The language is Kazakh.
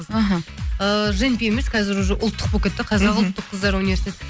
аха ыыы женпи емес қазір уже ұлттық болып кетті қазақ ұлттық қыздар университеті